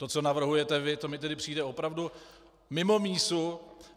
To, co navrhujete vy, to mi tedy přijde opravdu mimo mísu.